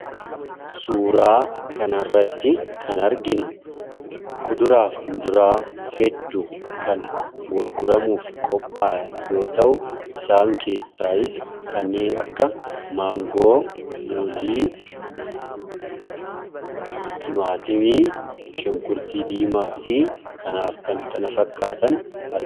suuraa kanarratti kan arginu kuduraafi muduraa hedduu kan gurguramuuf qophaa'e yoo ta'u isaan keessaas kanneen akka maangoo muzii, timaatimii, shunkurtii diimaa fi kanaaf kan kana fakkaatan ni argamu.